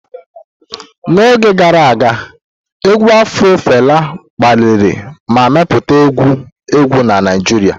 N'oge gara aga, égwù afro Fela kpaliri ma mepụta egwu egwu na Naijiria.